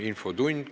Infotund.